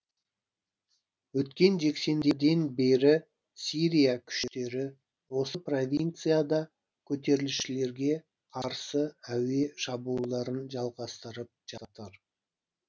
өткен жексенбіден бері сирия күштері осы провинцияда көтерілісшілерге қарсы әуе шабуылдарын жалғастырып жатыр